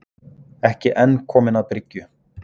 Ekki enn kominn að bryggju